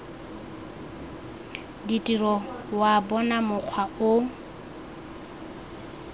ditiro wa bona mokgwa o